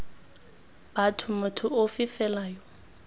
batho motho ofe fela yo